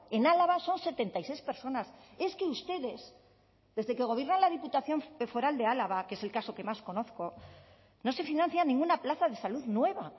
en álava son setenta y seis personas es que ustedes desde que gobierna la diputación foral de álava que es el caso que más conozco no se financia ninguna plaza de salud nueva